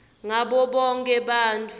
ngabo bonkhe bantfu